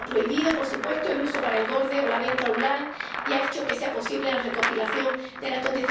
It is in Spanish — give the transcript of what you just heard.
ha prohibido, por supuesto, el uso para engorde o la venta en línea, y ha hecho que sea posible la recopilación de datos.